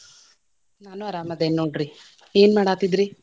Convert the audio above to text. ನಾನು ಆರಾಮದೇನಿ ನೋಡ್ರಿ, ಏನ್ ಮಾಡಾತಿದ್ರೀ?